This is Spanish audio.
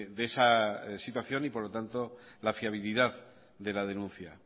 de esa situación y por lo tanto la fiabilidad de la denuncia